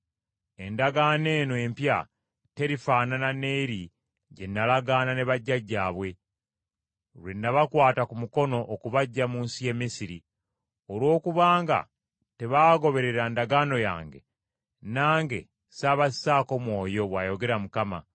Endagaano eno empya terifaanana n’eri gye nalagaana ne bajjajjaabwe lwe nabakwata ku mukono okubaggya mu nsi y’e Misiri. Olw’okubanga tebaagoberera ndagaano yange, nange ssaabassaako mwoyo,” bw’ayogera Mukama.